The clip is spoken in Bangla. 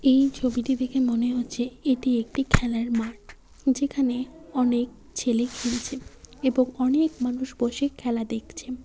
এই ছবিটি দেখে মনে হচ্ছে এটি একটি খেলার মাঠ যেখানে অনেক ছেলে খেলছে এবং অনেক মানুষ বসে খেলা দেখছে।